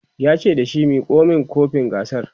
yace da shi"Miko min kofin gasar!"